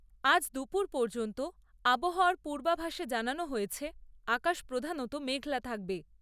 আজ দুপুর পর্যন্ত আবহাওয়ার পূর্বাভাসে জানানো হয়েছে, আকাশ প্রধানত মেঘলা থাকবে।